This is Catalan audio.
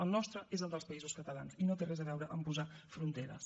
el nostre és el dels països catalans i no té res a veure amb posar fronteres